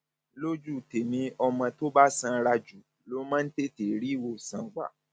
lójú tèmi ọmọ tó bá sanra jù ló máa ń tètè rí ìwòsàn gbà